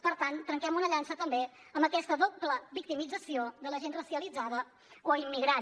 per tant trenquem una llança també contra aquesta doble victimització de la gent racialitzada o immigrant